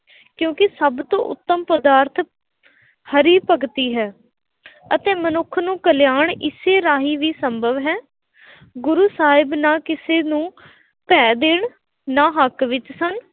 ਕਿਉਂਕਿ ਸਭ ਤੋਂ ਉੱਤਮ ਪਦਾਰਥ ਹਰਿ ਭਗਤੀ ਹੈ ਅਤੇ ਮਨੁੱਖ ਨੂੰ ਕਲਿਆਣ ਇਸੇ ਰਾਹੀ ਵੀ ਸੰਭਵ ਹੈ, ਗੁਰੂ ਸਾਹਿਬ ਨਾ ਕਿਸੇ ਨੂੰ ਭੈਅ ਦੇਣ, ਨਾ ਹੱਕ ਵਿੱਚ ਸਨ।